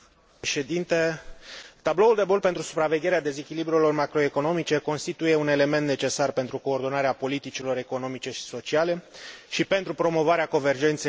Tabloul de bord pentru supravegherea dezechilibrelor macroeconomice constituie un element necesar pentru coordonarea politicilor economice și sociale și pentru promovarea convergenței între statele membre.